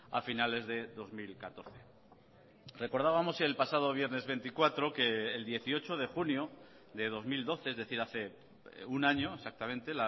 a finales de dos mil catorce recordábamos el pasado viernes veinticuatro que el dieciocho de junio de dos mil doce es decir hace un año exactamente